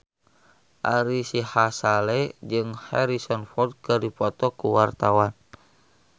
Ari Sihasale jeung Harrison Ford keur dipoto ku wartawan